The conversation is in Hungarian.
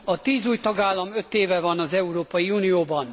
A tíz új tagállam öt éve van az Európai Unióban.